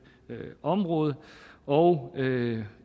område og